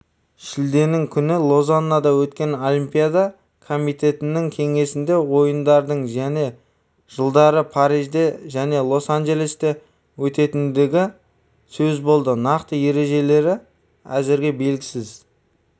шілденің күні лозаннада өткен олимпиада комитетінің кеңесінде ойындардың және жылдары парижде және лос-анджелесте өтетіндігі сөз болды нақты ережелері әзірге белгісіз